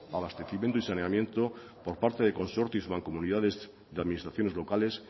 abastecimiento y saneamiento por parte de consorcio y mancomunidades de administraciones locales